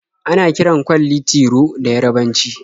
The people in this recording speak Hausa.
Ana kiran kwalli "Tiro" da Yarabanci.